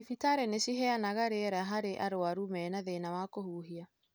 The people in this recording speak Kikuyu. Thibitari nĩ ciheanaga rĩera harĩ arwaru mena thĩna wa kũhuhia.